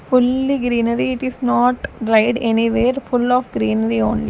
fully greenery it is not dried anywhere full of greenery only.